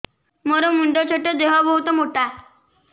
ମୋର ମୁଣ୍ଡ ଛୋଟ ଦେହ ବହୁତ ମୋଟା